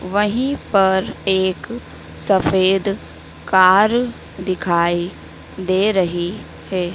वहीं पर एक सफेद कार दिखाई दे रही है।